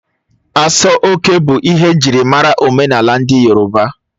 Aso oke bụ ihe njirimara omenala ndị yorọba.